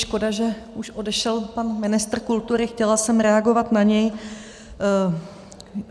Škoda, že už odešel pan ministr kultury, chtěla jsem reagovat na něj.